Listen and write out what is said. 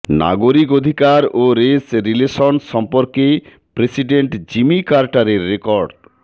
নাগরিক অধিকার ও রেস রিলেশনস সম্পর্কে প্রেসিডেন্ট জিমি কার্টারের রেকর্ড